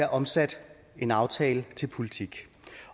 omsat en aftale til politik